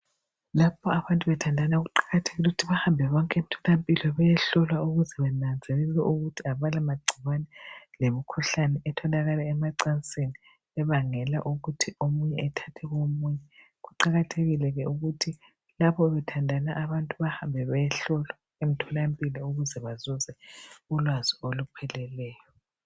Lapho abantu bethandana kuqakathekile ukuthi bahambe bonke emtholampilo beyehlolwa ukuze benanzelele ukuthi abala magcikwane lemkhuhlane etholakala emacansini ebangela ukuthi omunye athathe komunye. Kuqakathekile ke ukuthi lapho bethandana abantu bahambe bayehlolwa emtholampilo ukuze bazuze ulwazi olupheleleyo.